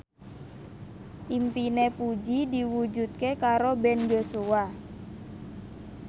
impine Puji diwujudke karo Ben Joshua